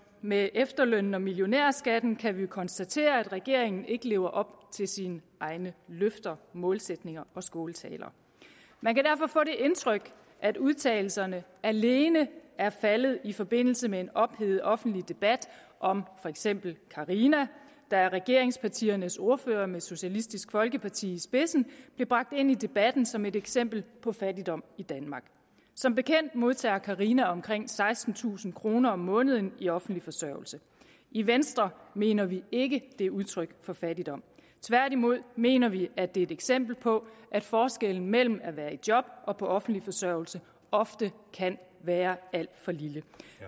med efterlønnen og millionærskatten kan vi jo konstatere at regeringen ikke lever op til sine egne løfter målsætninger og skåltaler man kan derfor få det indtryk at udtalelserne alene er faldet i forbindelse med en ophedet offentlig debat om for eksempel carina der af regeringspartiernes ordførere med socialistisk folkeparti i spidsen blev bragt ind i debatten som et eksempel på fattigdom i danmark som bekendt modtager carina omkring sekstentusind kroner om måneden i offentlig forsørgelse i venstre mener vi ikke det er udtryk for fattigdom tværtimod mener vi at det er et eksempel på at forskellen mellem at være i job og på offentlig forsørgelse ofte kan være alt for lille